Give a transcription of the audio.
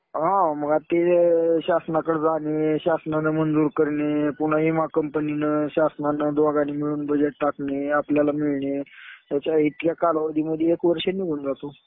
हा. मग ते शासनाकडं जाणे. शासनाने मंजूर करणे. पुन्हा विमा कंपनीनं, शासनानं दोघांनी मिळून बजेट टाकणे. आपल्याला मिळणे. त्याच्या इतक्या कालावधीमध्ये एक वर्ष निघून जातो.